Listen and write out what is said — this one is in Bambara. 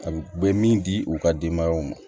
A bɛ min di u ka denbayaw ma